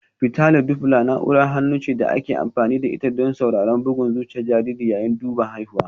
Fitali Dopla na'urar hannu ce da ake amfani da ita don sauraron bugun zuciyar jariri yayin duban haihuwa